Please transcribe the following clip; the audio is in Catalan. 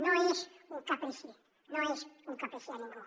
no és un caprici no és un caprici de ningú